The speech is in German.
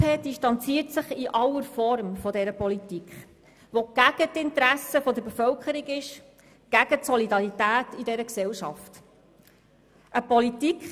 Die SP distanziert sich in aller Form von dieser Politik, die den Interessen der Bevölkerung zuwiderläuft und gegen die Solidarität in dieser Gesellschaft ist.